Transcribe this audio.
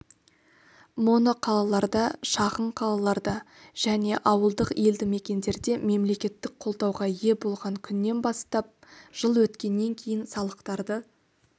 моноқалаларда шағын қалаларда және ауылдық елді-мекендерде мемлекеттік қолдауға ие болған күннен бастап жыл өткеннен кейін салықтарды